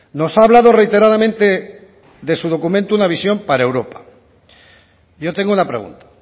nos ha hablado reiteradamente de su documento una visión para europa yo tengo una pregunta